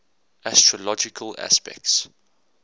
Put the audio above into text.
astrological aspects